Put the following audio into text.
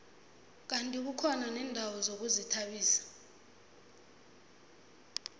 kandi kukhona neendawo zokuzithabisa